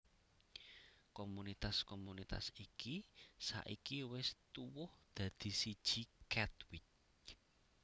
Komunitas komunitas iki saiki wis tuwuh dadi siji Katwijk